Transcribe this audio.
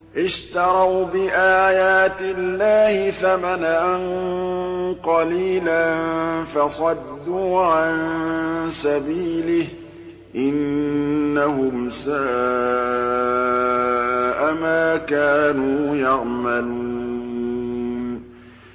اشْتَرَوْا بِآيَاتِ اللَّهِ ثَمَنًا قَلِيلًا فَصَدُّوا عَن سَبِيلِهِ ۚ إِنَّهُمْ سَاءَ مَا كَانُوا يَعْمَلُونَ